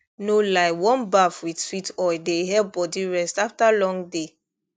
no lie warm baff with sweet oil dey help body rest after long day